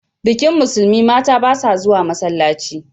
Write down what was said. Bikin Musulmi, mata ba sa zuwa masallaci.